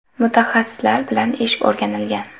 Mutaxassislar bilan ish o‘rganilgan.